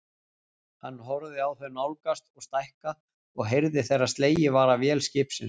Hann horfði á þau nálgast og stækka og heyrði þegar slegið var af vél skipsins.